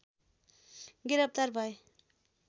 गिरफ्तार भए